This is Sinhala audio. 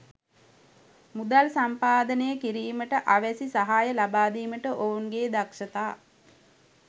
මුදල් සම්පාදනය කිරීමට අවැසි සහාය ලබා දීමට ඔවුන්ගේ දක්ෂතා